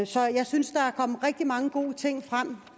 så jeg synes der er kommet rigtig mange gode ting frem